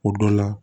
O dɔ la